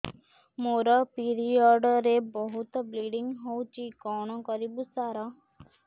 ମୋର ପିରିଅଡ଼ ରେ ବହୁତ ବ୍ଲିଡ଼ିଙ୍ଗ ହଉଚି କଣ କରିବୁ ସାର